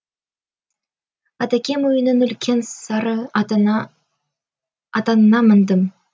атакем үйінің үлкен сары атанына міндім